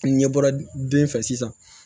N'i ɲɛ bɔra den fɛ sisan